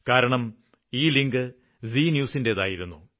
കാരണം ഈ link Zee News ന്റേതായിരുന്നു